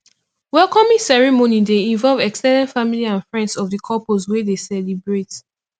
welcoming ceremony de involve ex ten ded family and friends of the couples wey de celebrate